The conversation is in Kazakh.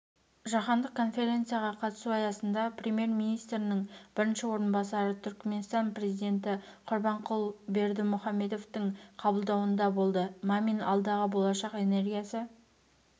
жаһандық конференцияға қатысу аясында премьер-министрінің бірінші орынбасары түркіменстан президенті құрбанқұлы бердімұхамедовтіңқабылдауында болды мамин алдағы болашақ энергиясы